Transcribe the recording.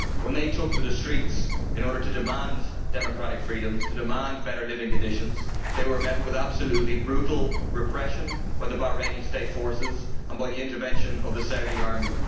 When they took to the streets in order to demand democratic freedoms, to demand better living conditions, they were met with absolutely brutal repression by the Bahraini state forces and by the intervention of the Saudi army.